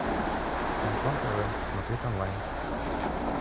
шансон тв смотреть онлайн